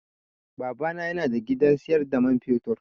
Baba na yana da gidan siyar da man fetur.